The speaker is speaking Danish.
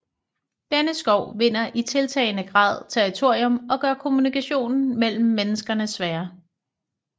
Denne skov vinder i tiltagende grad territorium og gør kommunikationen mellem menneskene sværere